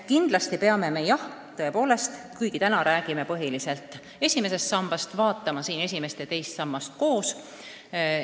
Kuigi me täna räägime põhiliselt esimesest sambast, vaatame siin ka esimest ja teist sammast koos.